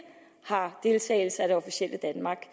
har deltagelse af det officielle danmark